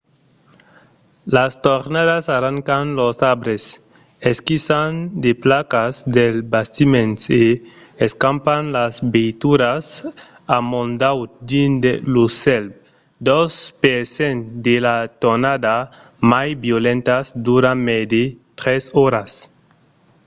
las tornadas arrancan los arbres esquiçan de placas dels bastiments e escampan las veituras amondaut dins lo cèl. dos per cent de las tornadas mai violentas duran mai de tres oras